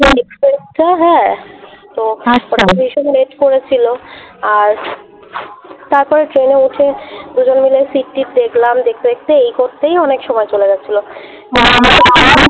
হ্যাঁ তো আচ্ছা ভীষণ করেছিল, আর তারপর ট্রেনে উঠে দুজন মিলে সিট্ টিট দেখলাম দেখতে দেখতে এই করতেই অনেক সময় চলে গেছিলো।